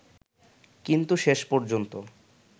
কিন্তু শেষ পর্যন্ত